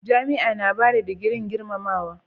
Jami'a na bada digirin girmamawa.